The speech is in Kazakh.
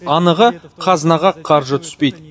анығы қазынаға қаржы түспейді